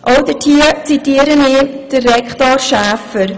Auch hier zitiere ich Herrn Rektor Schäfer: